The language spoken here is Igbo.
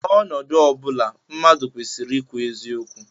N'ọnọdụ ọ bụla, mmadụ kwesịrị ikwu eziokwu